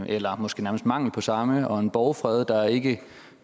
eller måske nærmest mangel på samme og en borgfred der ikke